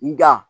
Nga